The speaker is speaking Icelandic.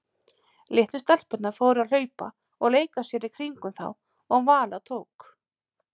Litlu stelpurnar fóru að hlaupa og leika sér í kringum þá og Vala tók